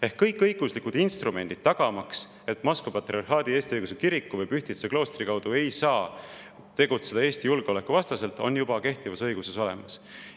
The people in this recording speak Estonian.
Ehk siis kõik õiguslikud instrumendid tagamaks, et Moskva Patriarhaadi Eesti Õigeusu Kiriku ega Pühtitsa kloostri kaudu ei saa tegutseda Eesti julgeoleku vastaselt, on juba kehtivas õiguses olemas.